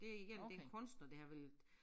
Det igen det en kunstner det her ville